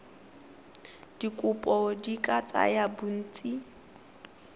dikopo di ka tsaya bontsi